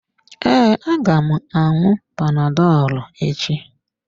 Ee, aga m aṅụ panadolu echi.